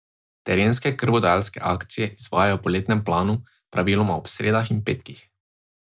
Terenske krvodajalske akcije izvajajo po letnem planu, praviloma ob sredah in petkih.